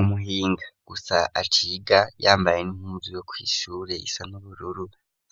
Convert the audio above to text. Umuhinga gusa aciga yambaye impuzu yo kw'ishure isa n'ubururu,